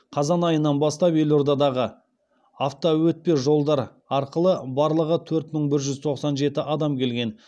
қазан айынан бастап елордадағы автоөтпе жолдар арқылы барлығы төрт мың бір жүз тоқсан жеті адам келген